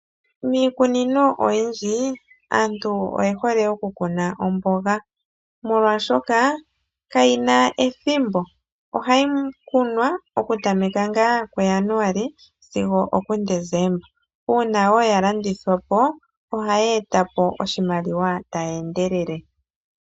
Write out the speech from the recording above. Miikunino oyindji aantu oyehole okukuna omboga molwaashoka kayina ethimbo, ano ohayi kunwa okutameka mu Januali sigo omu Desemba, uuna wo ya landithwa po ohayi eta po oshimaliwa tayi endelele.